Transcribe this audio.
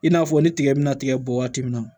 I n'a fɔ ni tigɛ bɛna tigɛ bɔn waati min na